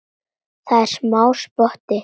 Það er smá spotti.